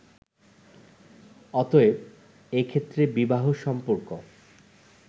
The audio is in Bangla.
অতএব, এ ক্ষেত্রে বিবাহ-সম্পর্ক